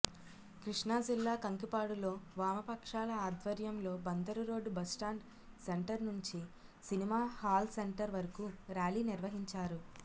కృష్ణాజిల్లా కంకిపాడులో వామపక్షాల ఆధ్వర్యంలో బందరు రోడ్డు బస్టాండ్ సెంటర్ నుంచి సినిమా హాల్ సెంటర్ వరకూ ర్యాలీ నిర్వహించారు